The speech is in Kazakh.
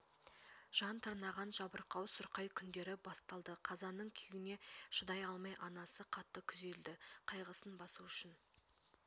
жан тырнаған жабырқау сұрқай күндері басталды қазаның күйігіне шыдай алмай анасы қатты күйзелді қайғысын басу үшін